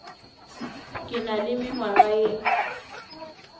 ke na le mengwaga ye